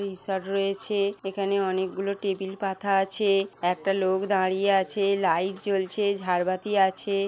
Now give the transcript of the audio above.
টি shirt রয়েছে এখানে অনেকগুলো টেবিল পাতা আছে একটা লোক দাঁড়িয়ে আছে লাইট জ্বলছে ঝাড়বাতি আছে।